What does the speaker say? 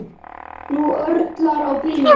Nú örlar á bílum.